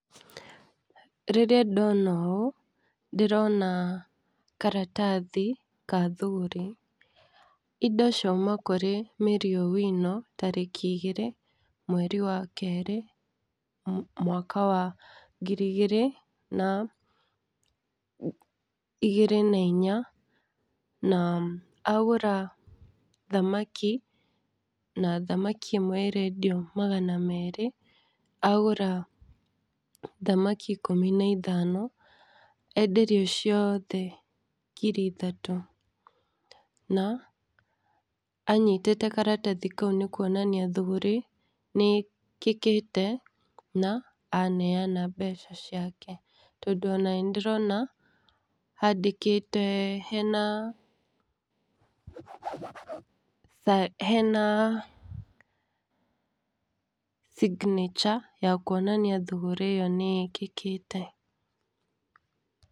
Rĩrĩra ndĩrona ũũ ndĩrona karatathi ka thũgũrĩ indo ciuma krũĩ Mary owino tarĩki igĩrĩ mweri wa kerĩ mwaka wa ngiri igĩrĩ na inya. Na agũra thamaki na thamaki ĩmwe enderio maga merĩ agũra thamaki ikũmi na ithano enderio ciothe ngiri ithatũ. Na anyitĩte karatathi kau nĩ kuonania thũgũrĩ nĩ wĩkĩkĩte na aneana mbeca ciake. Tondũ ona nĩ ndĩrona andĩkĩte hena, hena signature ya kuonania thũgũrĩ ĩyo nĩ ĩkĩkĩte.